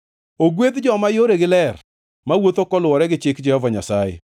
Ogwedh joma yoregi ler, mawuotho koluwore gi chik Jehova Nyasaye.